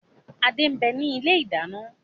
Adé ń bẹni ilé ìdáná